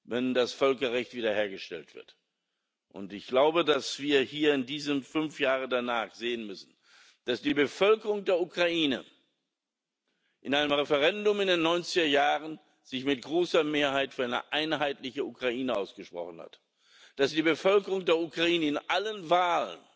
wenn das Völkerrecht wiederhergestellt wird. Ich glaube, dass wir hier fünf Jahre danach sehen müssen, dass die Bevölkerung der Ukraine sich in einem Referendum in den neunziger Jahren mit großer Mehrheit für eine einheitliche Ukraine ausgesprochen hat, dass sich die Bevölkerung der Ukraine in allen Wahlen